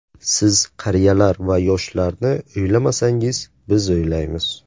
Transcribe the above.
Siz qariyalar va yoshlarni o‘ylamasangiz, biz o‘ylaymiz.